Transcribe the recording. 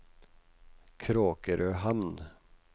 Kråkrøhamn